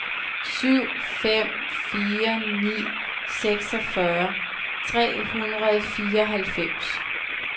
syv fem fire ni seksogfyrre tre hundrede og fireoghalvfems